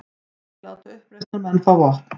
Vilja láta uppreisnarmenn fá vopn